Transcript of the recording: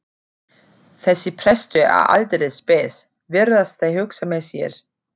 Þessi prestur er aldeilis spes, virðast þeir hugsa með sér.